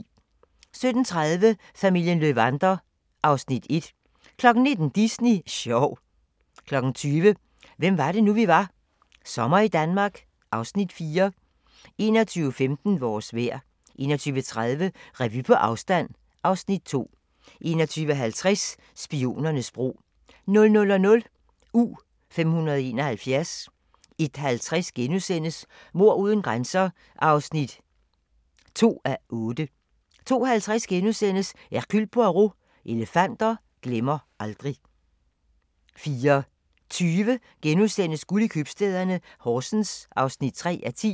17:30: Familien Löwander (Afs. 1) 19:00: Disney sjov 20:00: Hvem var det nu vi var - Sommer i Danmark (Afs. 4) 21:15: Vores vejr 21:30: Revy på afstand (Afs. 2) 21:50: Spionernes bro 00:00: U-571 01:50: Mord uden grænser (2:8)* 02:50: Hercule Poirot: Elefanter glemmer aldrig * 04:20: Guld i købstæderne - Horsens (3:10)*